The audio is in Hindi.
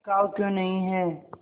बिकाऊ क्यों नहीं है